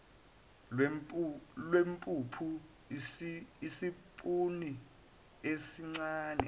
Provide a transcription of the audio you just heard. lwempuphu isipuni esincane